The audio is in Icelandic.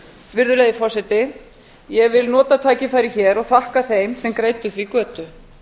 virðulegi forseti ég vil nota tækifærið hér og þakka þeim sem greiddu því götu